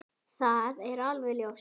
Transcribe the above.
Það er alveg ljóst!